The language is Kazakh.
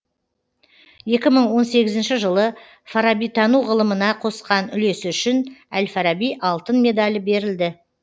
екі мың он сегізінші жылы фарабитану ғылымына қосқан үлесі үшін әл фараби алтын медалі берілді